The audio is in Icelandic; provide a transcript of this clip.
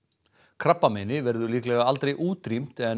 krabbameini verður líklega aldrei útrýmt en